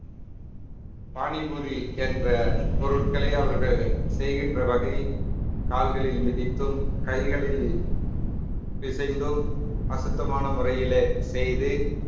பானிபூரி என்ற பொருட்கள அவர்கள் செய்கின்ற வகை கால்களில் மிதித்தும் கைகளில் பிசைந்தும் அசுத்தமான முறையிலே செய்து